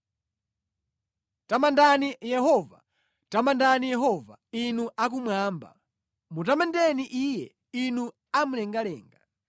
Tamandani Yehova. Tamandani Yehova, inu a kumwamba, mutamandeni Iye, inu a mlengalenga.